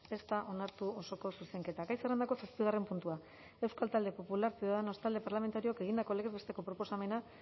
ez da onartu osoko zuzenketa gai zerrendako zazpigarren puntua euskal talde popularra ciudadanos talde parlamentarioak egindako legez besteko proposamena